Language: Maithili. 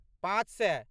पाँच सए